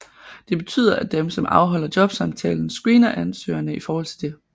Det betyder at dem som afholder jobsamtalen screener ansøgerne i forhold til dette